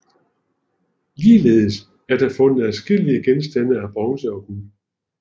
Ligeledes er der fundet adskillige genstande af bronze og guld